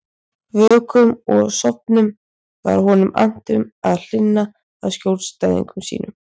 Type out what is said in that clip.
Vöknum og sofnum var honum annt um að hlynna að skjólstæðingum sínum.